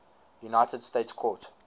united states court